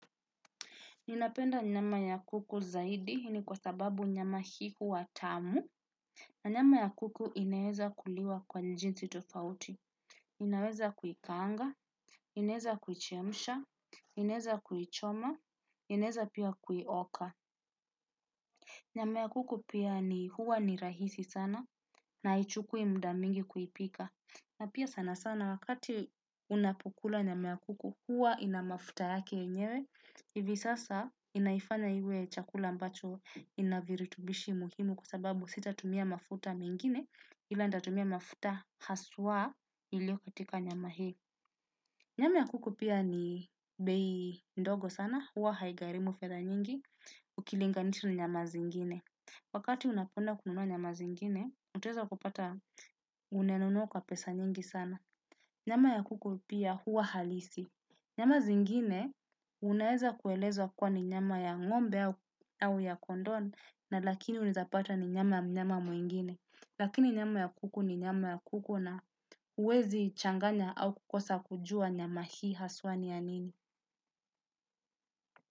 Ninapenda nyama ya kuku zaidi, hii ni kwa sababu nyama hii huwa tamu. nNyama ya kuku inaweza kuliwa kwa jinsi tofauti. Inaweza kuikanga, inaweza kuichemusha, inaweza kuichoma, inaweza pia kuioka. Nyama ya kuku pia ni huwa ni rahisi sana, na haichukui mada mingi kuipika. Na pia sana sana wakati unapikula nyama ya kuku huwa ina mafuta yake yenyewe, hivi sasa inaifanya iwe chakula ambacho ina viritubishi muhimu kwa sababu sitatumia mafuta mengine ila ntatumia mafuta haswa ilio katika nyama hii. Nyama ya kuku pia ni bei ndogo sana, huwa haigarimu fedha nyingi, ukilinganisha na nyama zingine. Wakati unapoenda kununua nyama zingine, utaweza kupata umenunua kwa pesa nyingi sana. Nyama ya kuku pia huwa halisi. Nyama zingine, unaweza kuelezwa kuwa ni nyama ya ng'ombe au ya kondoo, na lakini unaweza pata ni nyama ya mnyama mwingine. Lakini nyama ya kuku ni nyama ya kuku na huwezi changanya au kukosa kujua nyama hii haswa ni ya nini.